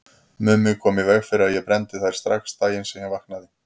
Mummi kom í veg fyrir að ég brenndi þær strax daginn sem ég vaknaði.